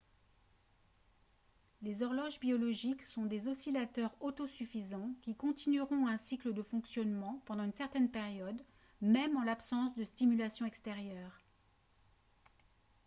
les horloges biologiques sont des oscillateurs autosuffisants qui continueront un cycle de fonctionnement pendant une certaine période même en l'absence de stimulation extérieure